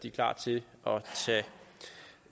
er klar til